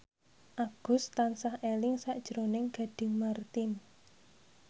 Agus tansah eling sakjroning Gading Marten